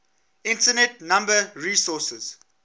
internet number resources